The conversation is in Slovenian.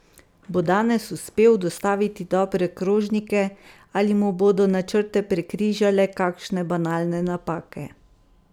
Bo danes uspel dostaviti dobre krožnike, ali mu bodo načrte prekrižale kakšne banalne napake?